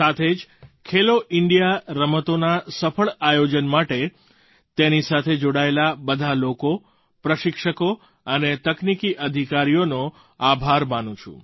સાથે જ ખેલો ઇન્ડિયા રમતોના સફળ આયોજન માટે તેની સાથે જોડાયેલા બધાં લોકો પ્રશિક્ષકો અને તકનીકી અધિકારીઓનો આભાર માનું છું